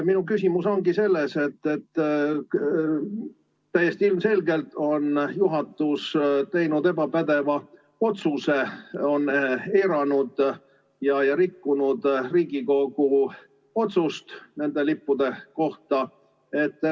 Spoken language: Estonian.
Minu küsimus ongi selles, et täiesti ilmselgelt on juhatus teinud ebapädeva otsuse, on eiranud ja rikkunud Riigikogu otsust nende lippude kohta.